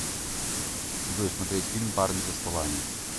джой смотреть фильм парни со стволами